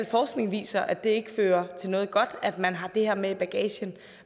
forskning viser at det ikke fører til noget godt at man har det her med i bagagen